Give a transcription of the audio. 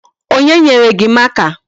Onye nyere gị marker?